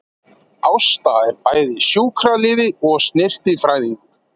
Ásta er bæði sjúkraliði og snyrtifræðingur